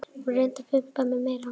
Hún reyndi að pumpa mig meira.